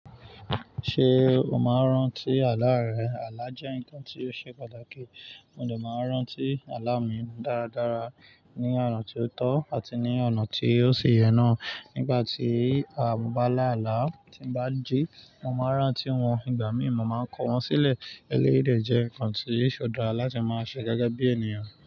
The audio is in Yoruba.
Ṣé o máa ń rántí àlá rẹ? Àlá jẹ́ nǹkan tí ó ṣe pàtàkì, mo dẹ má ń rántí àlá mi dáradára ní ọ̀nà tí ó tọ́ àti ní ọ̀nà tí ó si yẹn náà. Nígbà tí a bá lá àlá tí ń bá jí, mo máa ń rántí wọn, ìgbà mìí mo máa ń kọ̀ wọ́n sílẹ̀. Eléyii de jẹ́ nǹkan tí yóò ṣi dára láti máa ṣe gẹ́gẹ́ bí ènìyàn.